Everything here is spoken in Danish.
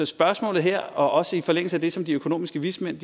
spørgsmålet her også i forlængelse af det som de økonomiske vismænd